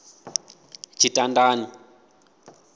tshitandani